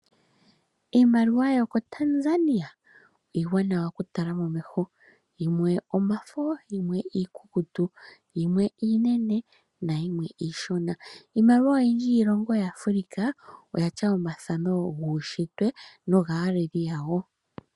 Iimaliwa yomoTanzania iiwanawa oku tala momeho. Yimwe omafo, yimwe iikukutu, yimwe iinene nayimwe iishona. Iimaliwa oyindji yiilongo ya Afrika oyalya omathano guunshitwe nogaaleli yayo.